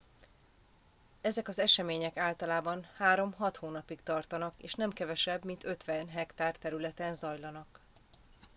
ezek az események általában három hat hónapig tartanak és nem kevesebb mint 50 hektár területen zajlanak